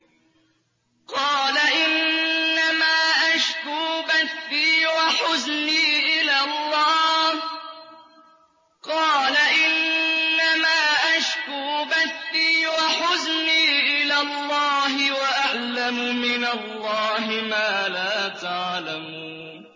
قَالَ إِنَّمَا أَشْكُو بَثِّي وَحُزْنِي إِلَى اللَّهِ وَأَعْلَمُ مِنَ اللَّهِ مَا لَا تَعْلَمُونَ